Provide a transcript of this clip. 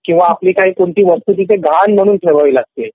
किंवा आपली कोणती वस्तू तिथे गहाण म्हणून ठेवावी लागते